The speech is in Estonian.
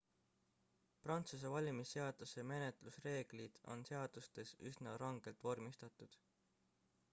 prantsuse valimisseaduse menetlusreeglid on seadustes üsna rangelt vormistatud